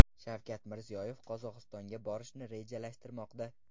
Shavkat Mirziyoyev Qozog‘istonga borishni rejalashtirmoqda.